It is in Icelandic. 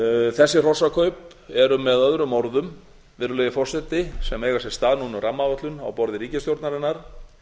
þessi hrossakaup eru með öðrum orðum virðulegi forseti sem eiga sér stað núna á rammaáætlun á borði ríkisstjórnarinnar